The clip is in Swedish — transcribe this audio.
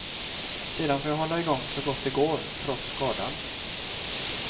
Sedan får jag hålla igång så gott det går, trots skadan.